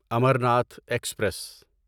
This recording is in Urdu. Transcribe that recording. امرناتھ ایکسپریس